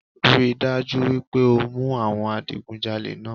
Rí i dájú wípé o mú àwọn adigunjalé náà